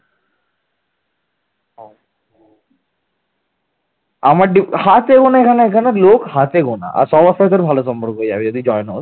হাতে গোনা এখানে লোক হাতে ঘোনা । আর সবার সাথে ভালো সম্পর্ক হয়ে যাবে যদি join হস